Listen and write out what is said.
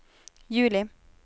juli